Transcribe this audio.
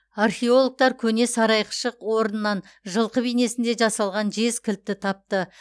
археологтар көне сарайқшық орнынан жылқы бейнесінде жасалған жез кілтті тапты